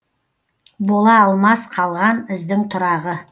бола алмас қалған іздің тұрағы